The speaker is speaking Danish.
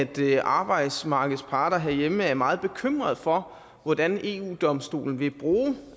ved arbejdsmarkedets parter herhjemme er meget bekymret for hvordan eu domstolen vil bruge